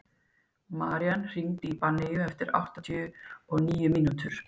Marían, hringdu í Benneyju eftir áttatíu og níu mínútur.